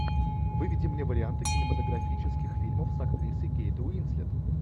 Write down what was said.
выведи мне варианты кинематографических фильмов с актрисой кейт уинслет